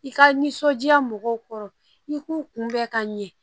I ka nisɔndiya mɔgɔw kɔrɔ i k'u kunbɛn ka ɲɛ